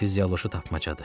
Fizioloji tapmacadır.